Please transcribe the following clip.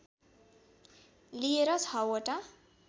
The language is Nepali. लिएर छवटा